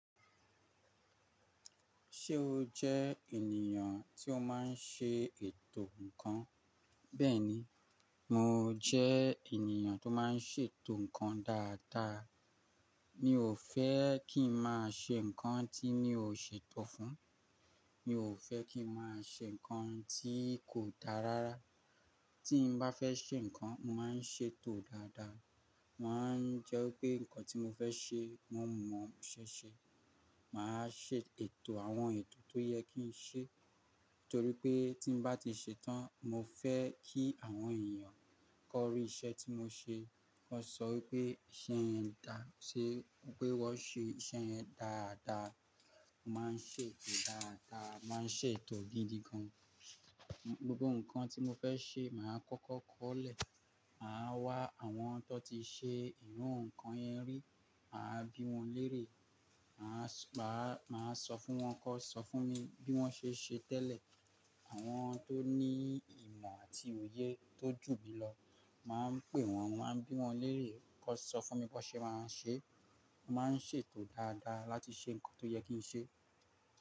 Ṣé o jẹ́ ènìyàn tí ó má n ṣe ètò ǹkan? Bẹ́ẹ̀ni, mo jẹ́ ènìyàn tó má n ṣètò ǹkan dáadáa. Mi ò fẹ́ kí n má a ṣe ǹkan tí mí ò ṣe tò fún, mi ò fẹ́ kí n má a ṣe ǹkan tí kò dáa rárá. Tí n bá fẹ́ ṣe ǹkan, mo má n ṣètò dáadáa. Mo ma n jẹ́ pé ǹkan tí mo fẹ́ ṣe, mo mọ̀ ṣẹ́ṣẹ. Mà a ṣe ètò àwọn ètò tó yẹ kí n ṣe, torí pé tí n bá ti ṣe tán, mo fẹ́ kí àwọn ènìyàn kó rí iṣẹ́ tí mo ṣe, ki wọ́n sọ pé iṣẹ́ yẹn dá-- ṣe, wípé wọ́n ṣe iṣẹ́ yẹn dáadáa. Mo má n ṣètò dáadáa, mà a ṣe ètò gidi gan. Gbogbo ǹkan tí mo fẹ́ ṣe mà a kọ́kọ́ kọ́ọ̀lẹ̀, mà a wá àwọn tó ti ṣe irú ǹkan yẹn rí, mà a bí wọn lérè, mà a sọ páà-- mà a sọ fún wọn ki won sọ fún mi bí wọ́n ṣe ń ṣe tẹ́lẹ̀. Àwọn tó ní ìmọ̀ àti òye tó jù mí lọ, mà á pè wọ́n, mà a bí wọn lérè kan sọ fún mi bíwọ́n ṣe má a ń ṣe. Mo má n ṣètò dáadáa láti ṣe ǹkan tó yẹ kí n ṣe.